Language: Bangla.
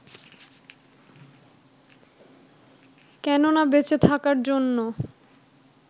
কেননা বেঁচে থাকার জন্য